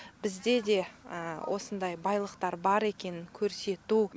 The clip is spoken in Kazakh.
бізде де осындай байлықтар бар екенін көрсету